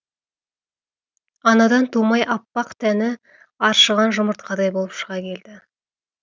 анадан тумай аппақ тәні аршыған жұмыртқадай болып шыға келді